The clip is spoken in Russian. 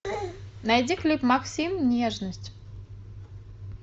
найди клип максим нежность